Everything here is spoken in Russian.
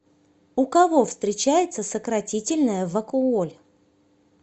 у кого встречается сократительная вакуоль